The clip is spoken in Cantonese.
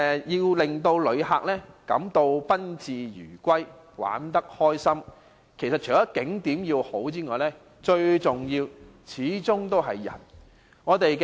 要令旅客感到賓至如歸，玩得開心，除了景點的吸引外，最重要的始終是人。